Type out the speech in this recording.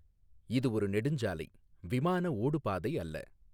இது ஒரு நெடுஞ்சாலை, விமான ஓடுபாதை அல்ல.